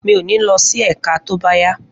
Mi ò ní lọ sí ẹ̀ka tó bá yá